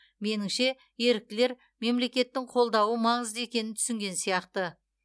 меніңше еріктілер мемлекеттің қолдауы маңызды екенін түсінген сияқты